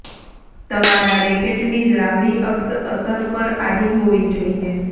તમારા રેકેટની લાંબી અક્ષ અસર પર આડી હોવી જોઈએ